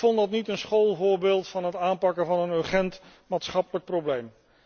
Ik vond dat niet een schoolvoorbeeld van het aanpakken van een urgent, maatschappelijk probleem.